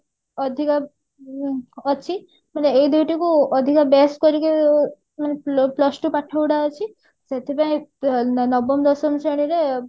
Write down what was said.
ଅଧିକ ଅ ଅଛି ମାନେ ଏଇ ଦୂଟି କୁ ଅଧିକ base କରିକି ମାନେ plus ଟୂ ପାଠ ଗୁଡା ଅଛି ସେଥିପାଇଁ ନବମ ଦଶମ ଶ୍ରେଣୀରେ